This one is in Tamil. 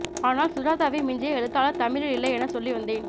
ஆனால் சுஜாதாவை மிஞ்சிய எழுத்தாளர் தமிழில் இல்லை என சொல்லி வந்தேன்